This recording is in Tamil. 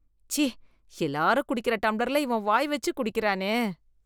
ச்சீ, எல்லாரும் குடிக்கிற டம்ளர்ல இவன் வாய் வெச்சு குடிக்கிறானே.